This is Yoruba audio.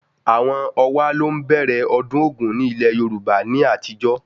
Àwọn Owa ló ń bẹ̀rẹ̀ ọdún ogún ni ilẹ̀ Yorùbá ní àtijó